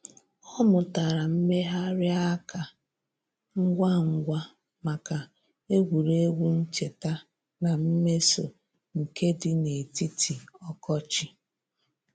Ọ mụtara mmegharị aka ngwa ngwa maka egwuregwu ncheta na mmeso nke di n'etiti ọkọchị.